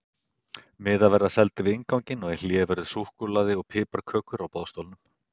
Miðar verða seldir við innganginn og í hléi verður súkkulaði og piparkökur á boðstólum.